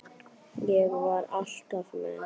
Ég var alltaf með.